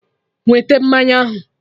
Wete mmanya ahụ!